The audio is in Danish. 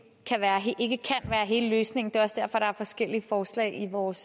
kan være hele løsningen det er også derfor der er forskellige forslag i vores